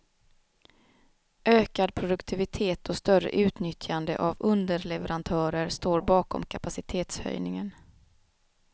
Ökad produktivitet och större utnyttjande av underleverantörer står bakom kapacitetshöjningen.